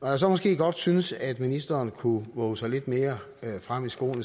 når jeg så måske synes at ministeren godt kunne vove sig lidt mere frem i skoene